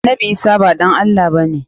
Annabi Isah ba ɗan Allah ba ne.